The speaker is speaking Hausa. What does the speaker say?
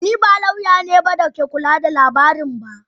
Ni ba lauya ne da ke kula da lamarin ba.